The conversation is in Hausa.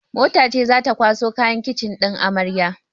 Mota ce zata kwaso kayan kicin ɗin amaryar